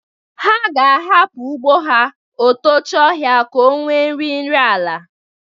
Ha ga-ahapụ ugbo ha o tochie ọhịa ka o wee nwe nri ala.